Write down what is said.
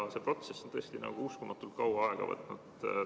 Aga see protsess on tõesti uskumatult kaua aega võtnud.